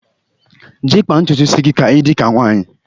Je kpaa ntutu isi gị ka ị dị ka nwaanyị!